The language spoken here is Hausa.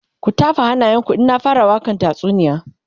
ku tafa hannayen ku in na fara wakan tatsuniyar